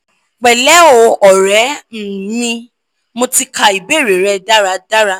pẹlẹ o ọrẹ um mi mo ti ka ibeere rẹ daradara